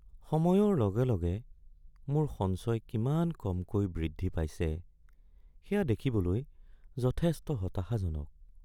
সময়ৰ লগে লগে মোৰ সঞ্চয় কিমান কমকৈ বৃদ্ধি পাইছে সেয়া দেখিবলৈ যথেষ্ট হতাশাজনক।